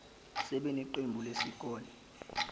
sibe neqembu lesikole